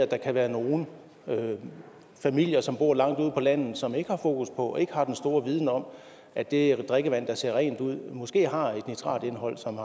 der kan være nogle familier som bor langt ude på landet som ikke har fokus på og som ikke har den store viden om at det drikkevand der ser rent ud måske har et nitratindholdet som